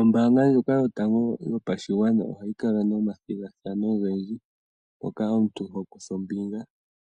Ombaanga ndjoka yotango yopashigwana ohayi kala nomathigathano ogendji, ngoka omuntu ho kutha ombinga wo,